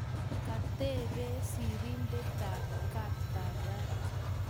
Katebe sirindetab kaptagat